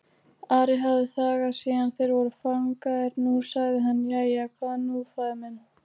Ari hafði þagað síðan þeir voru fangaðir, nú sagði hann:-Jæja, hvað nú faðir minn?